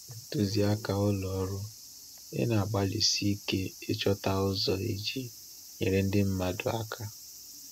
Ntuziaka Ụlọ Ọrụ – Ị na-agbalịsi ike ịchọta ụzọ iji nyere ndị mmadụ aka.